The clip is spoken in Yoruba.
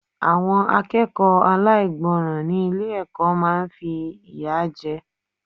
Àwọn akẹ́kọ̀ọ́ aláìgbọràn ni ilé ẹ̀kọ́ máa ń fi ìyà jẹ.